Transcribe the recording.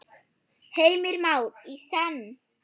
Heimir Már: Í senn?